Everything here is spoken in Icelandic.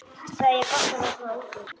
Þið eigið gott að vera svona ungir.